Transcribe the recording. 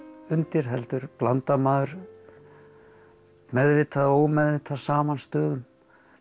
undir heldur blandar maður meðvitað eða ómeðvitað saman stöðum